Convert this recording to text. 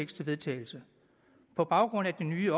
til vedtagelse på baggrund af de nye